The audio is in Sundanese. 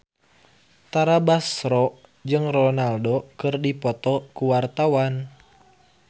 Tara Basro jeung Ronaldo keur dipoto ku wartawan